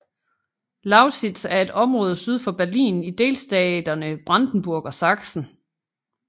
Lausitz er et område syd for Berlin i delstaterne Brandenburg og Saksen